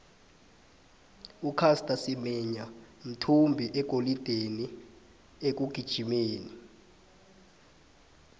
ucasta simenya mthvmbi wegolide ekugijimeni